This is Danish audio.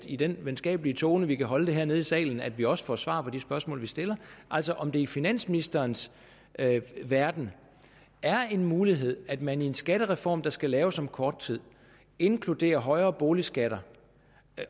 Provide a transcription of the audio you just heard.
i den venskabelige tone vi kan holde hernede i salen at vi også får svar på de spørgsmål vi stiller altså om det i finansministerens verden er en mulighed at man i en skattereform der skal laves om kort tid inkluderer højere boligskatter